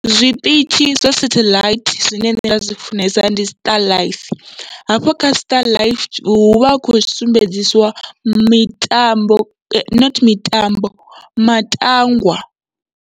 Zwiṱitshi zwa sathaḽaithi zwine nda zwi funesa, ndi starlife hafho kha starlife huvha hu kho sumbedzisiwa mitambo not mitambo matangwa.